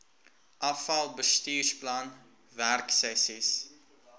afal bestuursplan werksessies